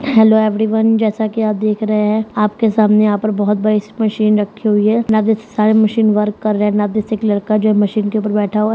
Hello everyone जैसा की आप देख रहे है आप के सामने यहां पर बहुत बड़ी मशीन रखी हुई लड़का है जो मशीन पर बैठा हुआ है।